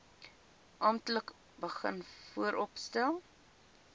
amptelik begin vooropstel